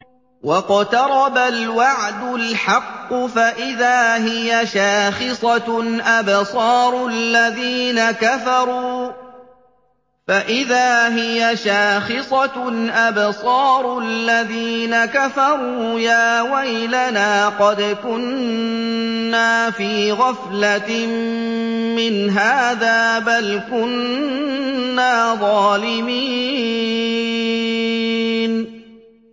وَاقْتَرَبَ الْوَعْدُ الْحَقُّ فَإِذَا هِيَ شَاخِصَةٌ أَبْصَارُ الَّذِينَ كَفَرُوا يَا وَيْلَنَا قَدْ كُنَّا فِي غَفْلَةٍ مِّنْ هَٰذَا بَلْ كُنَّا ظَالِمِينَ